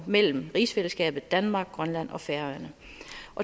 mellem rigsfællesskabets danmark grønland og færøerne